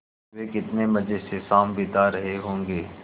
वे कितने मज़े से शाम बिता रहे होंगे